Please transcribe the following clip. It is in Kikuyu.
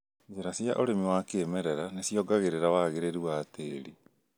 Njĩra cia ũrĩmi wa kĩmerera nĩciongagĩrĩra wagĩrĩru wa tĩri